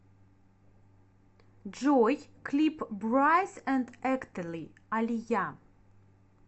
джой клип брайс энд эктали алия